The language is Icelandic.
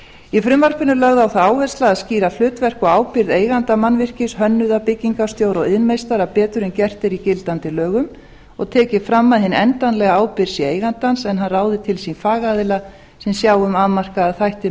í frumvarpinu er lögð á það áherslu að skýra hlutverk og ábyrgð eiganda mannvirkis hönnuða byggingarstjóra og iðnmeistara betur en gert er í gildandi lögum og tekið fram að hin endanlega ábyrgð sé eigandans en hann ráði til sín fagaðila sem sjái um afmarkaða þætti